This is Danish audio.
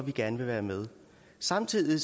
vi gerne vil være med samtidig